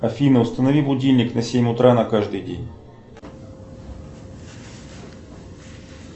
афина установи будильник на семь утра на каждый день